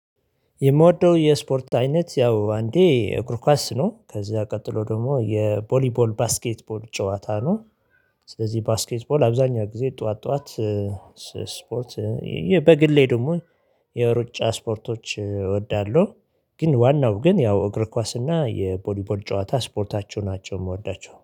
የምወደው የስፖርት አይነት ያው አንዴ እግር ኳስ ነው ከዛ ቀጥሎ ደግሞ የቦሊቦል ባስኬትቦል ጨዋታ ነው። ስለዚህ ባስኬት ቦል አብዛኛው ጊዜ ጠዋት ጠዋት ስ ስፖርት። በግሌ ደግሞ የሩጫ ስፖርቶች እወዳለሁ። ግን ዋናው ግን ያው እግር ኳስና የቦሊቦል ጨዋታ ስፖርታቸው ናቸው የምወዳቸው